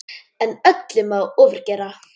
En öllu má ofgera.